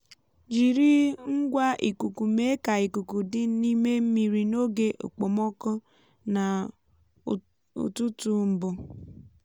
jiri ngwa ikuku mee ka ikuku dị n’ime mmiri n’oge okpomọkụ na ụtụtụ mbụ.